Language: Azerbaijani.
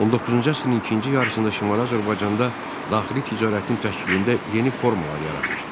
19-cu əsrin ikinci yarısında Şimali Azərbaycanda daxili ticarətin təşkilində yeni formalar yaranmışdı.